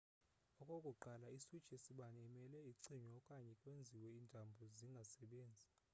okokuqala i-switch yesibane imele icinywe okanye kwenziwe iintambo zingasebenzi